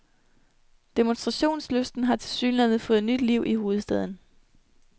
Demonstrationslysten har tilsyneladende fået nyt liv i hovedstaden.